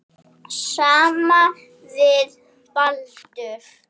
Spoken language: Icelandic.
Sama viðtal við Baldur.